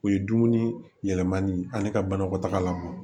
O ye dumuni yɛlɛmani ani ka banakɔtagala bɔ